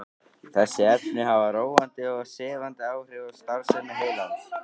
Þessi efni hafa róandi og sefandi áhrif á starfsemi heilans.